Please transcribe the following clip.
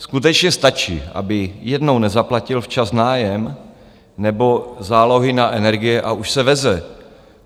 Skutečně stačí, aby jednou nezaplatil včas nájem nebo zálohy na energie, a už se veze.